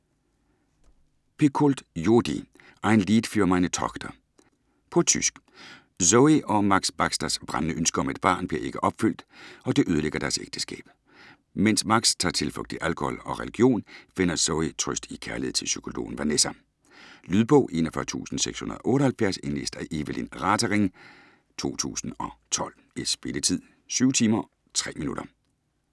Picoult, Jodi: Ein Lied für meine Tochter På tysk. Zoe og Max Baxters brændende ønske om et barn bliver ikke opfyldt, og det ødelægger deres ægteskab. Mens Max tager tilflugt i alkohol og religion, finder Zoe trøst i kærlighed til psykologen Vanessa. Lydbog 41678 Indlæst af Eveline Ratering, 2012. Spilletid: 7 timer, 3 minutter.